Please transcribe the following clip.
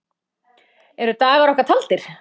Eru dagar okkar taldir?